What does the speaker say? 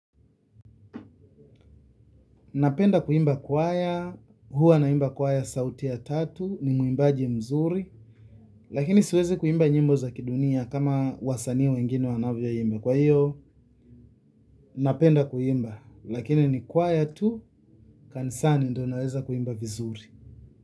Napenda kuimba kwaya, huwa naimba kwaya sauti ya tatu, ni muimbaji mzuri, lakini siwezi kuimba nyimbo za kidunia kama wasanii wengine wanavyoimba. Kwa hiyo, napenda kuimba, lakini ni kwaya tu, kanisani ndio naweza kuimba vizuri.